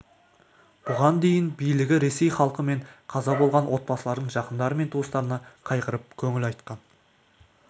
бұған дейін билігі ресей халқы мен қаза болған отбасылардың жақындары мен туыстарына қайғырып көңіл айтқан